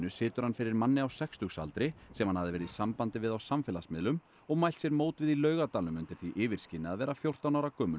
situr hann fyrir manni á sextugsaldri sem hann hafði verið í sambandi við á samfélagsmiðlum og mælt sér mót við í Laugardalnum undir því yfirskini að vera fjórtán ára gömul